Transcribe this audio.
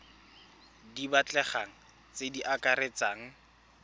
di batlegang tse di akaretsang